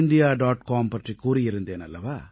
com பற்றிக் கூறியிருந்தேன் அல்லவா